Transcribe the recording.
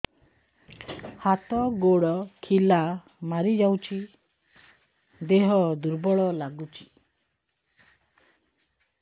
ହାତ ଗୋଡ ଖିଲା ମାରିଯାଉଛି ଦେହ ଦୁର୍ବଳ ଲାଗୁଚି